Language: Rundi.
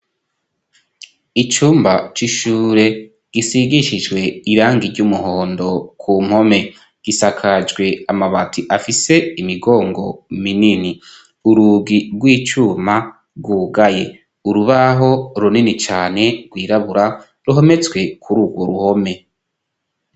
Icumba c'ishure gisigishijwe irangi ry'umuhondo ku mpome gisakajwe amabati afise imigongo minini, urugi rw'icuma rwugaye, urubaho runini cane rwirabura ruhometswe kuri urwo ruhome.